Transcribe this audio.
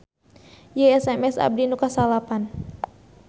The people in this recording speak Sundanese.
Ieu SMS abdi nu kasalapan